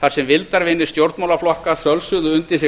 þar sem vildarvinir stjórnmálaflokka sölsuðu undir sig